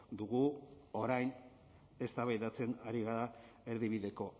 dugu orain eztabaidatzen ari gara erdibideko